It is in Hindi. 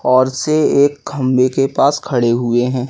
और से एक खंबे के पास खड़े हुए हैं।